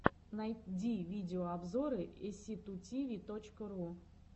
найди видеообзоры эсситутиви точка ру